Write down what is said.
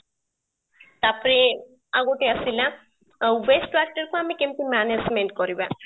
ତାପରେ ଆଉ ଗୋଟେ ଆସିଲା, waste factor କୁ ଆମେ କେମିତି management କରିବା ?